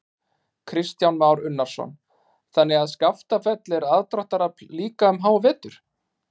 Kristján Már Unnarsson: Þannig að Skaftafell er aðdráttarafl líka um hávetur?